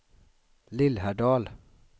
Lillhärdal